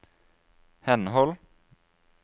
henhold